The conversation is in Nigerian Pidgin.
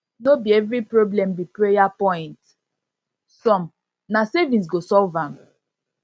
no be every problem be prayer point some na savings go solve am